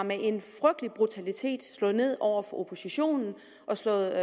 med en frygtelig brutalitet har slået ned over for oppositionen og slået